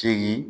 Segin